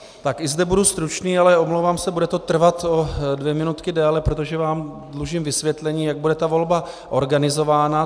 Tak i zde budu stručný, ale omlouvám se, bude to trvat o dvě minutky déle, protože vám dlužím vysvětlení, jak bude ta volba organizována.